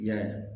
I ya